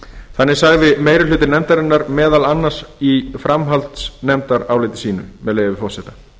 þannig sagði meiri hluti nefndarinnar meðal annars í framhaldsnefndaráliti sínu með leyfi forseta